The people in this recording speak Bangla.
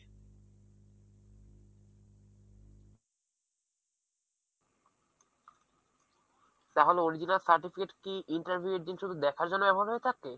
তাহলে original certificate কি interview এর দিন শুধু দেখার জন্য এমন হয়ে থাকে?